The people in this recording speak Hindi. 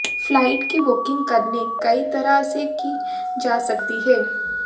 फ्लाइट की बुकिंग करने कई तरह से की जा सकती है